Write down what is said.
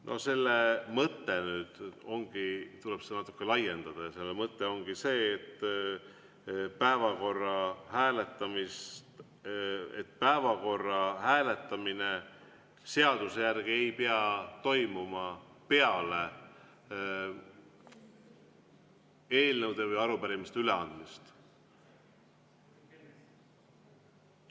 No selle mõte nüüd ongi – tuleb seda natuke laiendada –, et päevakorra hääletamine seaduse järgi ei pea toimuma peale eelnõude või arupärimiste üleandmist.